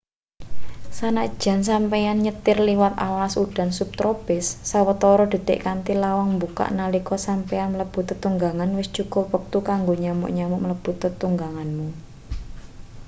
sanajan sampeyan nyetir liwat alas udan subtropis sawetara detik kanthi lawang mbukak nalika sampeyan mlebu tetunggangan wis cukup wektu kanggo nyamuk-nyamuk mlebu tetungganganmu